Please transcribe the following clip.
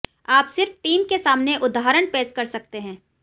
आप सिर्फ टीम के सामने उदाहरण पेश कर सकते हैं